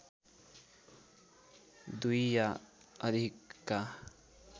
दुई या अधिकका